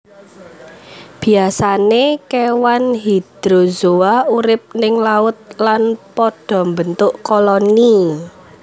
Biasané kewan Hydrozoa urip ning laut lan pada mbentuk koloni